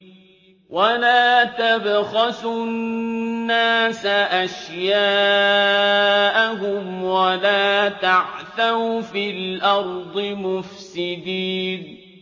وَلَا تَبْخَسُوا النَّاسَ أَشْيَاءَهُمْ وَلَا تَعْثَوْا فِي الْأَرْضِ مُفْسِدِينَ